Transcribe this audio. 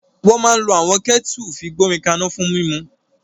Wọ́n máa ń lo àwọn kẹ́ẹ́tẹu fi gbomi ka'na fún mímu.